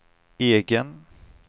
egen